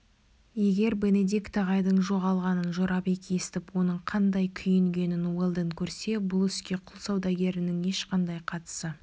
егер бенедикт ағайдың жоғалғанын жорабек естіп оның қандай күйінгенін уэлдон көрсе бұл іске құл саудагерінің ешқандай қатысы